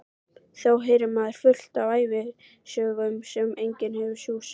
Þá heyrði maður fullt af ævisögum en fékk engan sjúss.